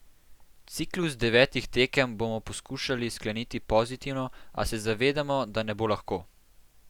Ciklus devetih tekem bomo poskušali skleniti pozitivno, a se zavedamo, da ne bo lahko.